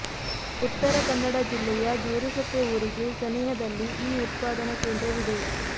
ಉತ್ತರ ಕನ್ನಡ ಜಿಲ್ಲೆಯ ಗೇರುಸೊಪ್ಪೆ ಊರಿಗೆ ಸನಿಹದಲ್ಲಿ ಈ ಉತ್ಪಾದನಾ ಕೇಂದ್ರವಿದೆ